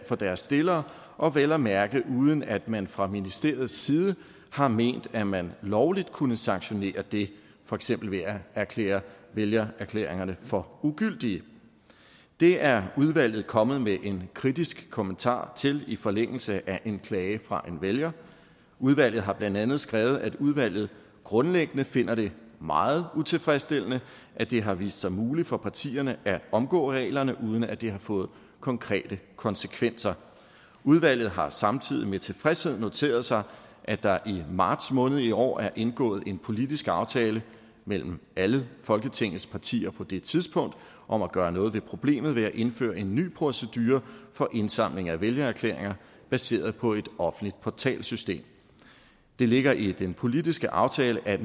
for deres stillere og vel at mærke uden at man fra ministeriets side har ment at man lovligt kunne sanktionere det for eksempel ved at erklære vælgererklæringerne for ugyldige det er udvalget kommet med en kritisk kommentar til i forlængelse af en klage fra en vælger udvalget har blandt andet skrevet at udvalget grundlæggende finder det meget utilfredsstillende at det har vist sig muligt for partierne at omgå reglerne uden at det har fået konkrete konsekvenser udvalget har samtidig med tilfredshed noteret sig at der i marts måned i år er indgået en politisk aftale mellem alle folketingets partier på det tidspunkt om at gøre noget ved problemet ved et indføre en ny procedure for indsamling af vælgererklæringer baseret på et offentligt portalsystem det ligger i den politiske aftale at